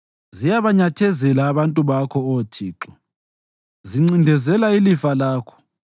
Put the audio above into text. Ziyabanyathezela abantu bakho, Oh Thixo; zincindezela ilifa lakho.